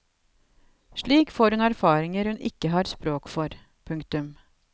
Slik får hun erfaringer hun ikke har språk for. punktum